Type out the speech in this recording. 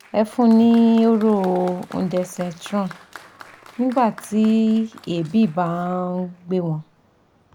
Ẹ fún un ní hóró ondensetron nígbà tí èébì bá nh gbé wọn